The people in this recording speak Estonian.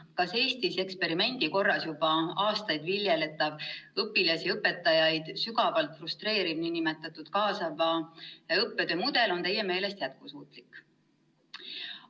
"Kas Eestis eksperimendi korras juba aastaid viljeletav, õpilasi ja õpetajaid sügavalt frustreeriv nn kaasava õppetöö mudel on Teie meelest jätkusuutlik?